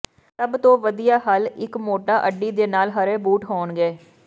ਸਭ ਤੋਂ ਵਧੀਆ ਹੱਲ ਇੱਕ ਮੋਟਾ ਅੱਡੀ ਦੇ ਨਾਲ ਹਰੇ ਬੂਟ ਹੋਣਗੇ